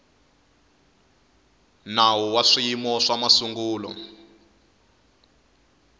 nawu wa swiyimo swa masungulo